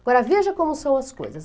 Agora, veja como são as coisas.